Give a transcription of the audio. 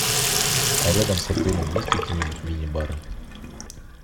а рядом с отелем есть какие нибудь мини бары